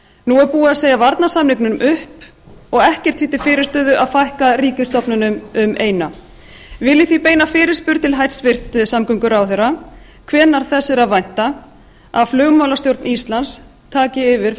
nú er búið að segja varnarsamningnum upp og ekkert því til fyrirstöðu að fækka ríkisstofnunum um eina vil ég því beina fyrirspurn til hæstvirts samgönguráðherra hvenær þess er að vænta að flugmálastjórn íslands taki yfir